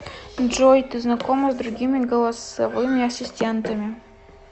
джой ты знакома с другими голосовыми ассистентами